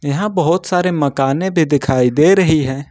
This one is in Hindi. यहां बहुत सारे मकाने भी दिखाई दे रही हैं।